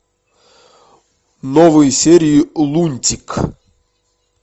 новые серии лунтик